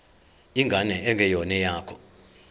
ingane engeyona eyakho